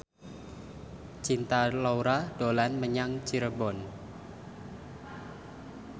Cinta Laura dolan menyang Cirebon